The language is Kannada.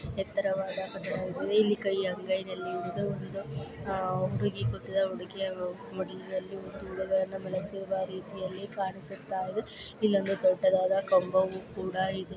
ಇದ್ದು ಎತ್ತರವಾದ ಕಟ್ಟಡ ಇದು ಇಲ್ಲಿ ಕೈ ಅಂಗೈನಲ್ಲಿ ಹಿಡಿದು ಒಂದು ಅಹ್ ಹುಡುಗಿ ಕೂತಿದಾಳ್ ಹುಡುಗಿಯ ಮಡಿಲಿನಲ್ಲಿ ಒಂದು ಹುಡುಗ ಅನ್ನ ಮಲಸಿರುವ ರೀತಿಯಲ್ಲಿ ಕಾಣಿಸುತ್ತಯಿದೆ ಇಲ್ಲೊಂದು ದೊಡ್ಡದಾದ ಕಂಬವು ಕೂಡ ಇದೆ.